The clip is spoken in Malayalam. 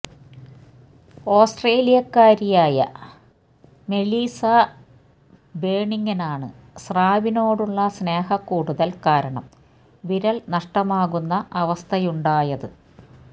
ഓസ്ട്രേലിയക്കാരിയായ മെലീസ ബേണിങ്ങിനാണ് സ്രാവിനോടുള്ള സ്നേഹക്കൂടുതല് കാരണം വിരല് നഷ്ടമാകുന്ന അവസ്ഥയുണ്ടായത്